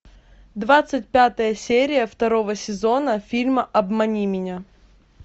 двадцать пятая серия второго сезона фильма обмани меня